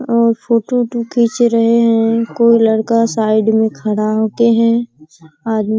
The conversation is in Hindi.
और फोटो ओटो खीच रहे हैं कोई लड़का साईड में खड़ा होते हैं | आदमी --